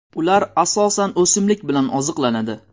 Ular asosan o‘simlik bilan oziqlanadi.